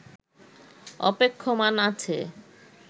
অপেক্ষমান আছে